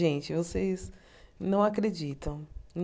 Gente, vocês não acreditam.